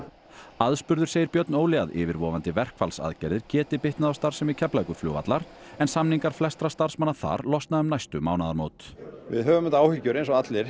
aðspurður segir Björn Óli að yfirvofandi verkfallsaðgerðir geti bitnað á starfsemi Keflavíkurflugvallar en samningar flestra starfsmanna þar losna um næstu mánaðamót við höfum auðvitað áhyggjur eins og allir